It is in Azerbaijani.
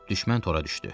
Düşmən tora düşdü.